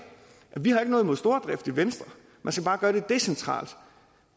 vi har ikke noget imod stordrift i venstre man skal bare gøre det decentralt